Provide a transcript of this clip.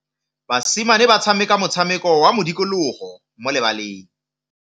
Basimane ba tshameka motshameko wa modikologô mo lebaleng.